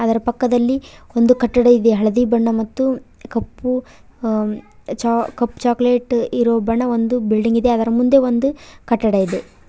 ಅದರ ಪಕ್ಕದಲ್ಲಿ ಒಂದು ಕಟ್ಟಡ ಇದೆ ಹಳದಿ ಬಣ್ಣ ಮತ್ತು ಕಪ್ಪುಅ -ಅ ಕಪ್ಪ್ ಚಾಕಲೇಟ್ ಇರೋ ಬಣ್ಣ ಒಂದು ಬಿಲ್ಡಿಂಗ್ ಅದರ ಮುಂದೆ ಒಂದು ಕಟ್ಟಡ ಇದೆ.